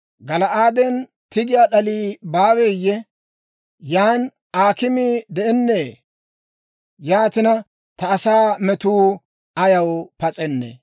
Gala'aaden tiggiyaa d'alii baaweeyye? Yaan aakimii de'ennee? Yaatina, ta asaa me'uu ayaw pas'ennee?